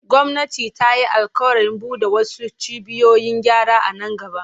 Gwamnati ta yi alƙawarin bude wasu cibiyoyin gyara a nan gaba.